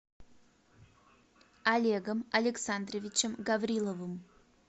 олегом александровичем гавриловым